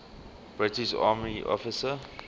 british army officer